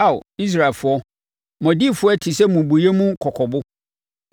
Ao Israelfoɔ, mo adiyifoɔ yi te sɛ mmubuiɛ mu kɔkɔbo.